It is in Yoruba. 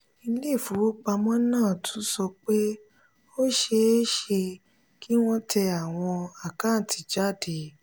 ilé ìfowópamọ́ náà tún sọ pé ó ṣe é ṣe kí wọ́n tẹ àwọn àkátì jáde.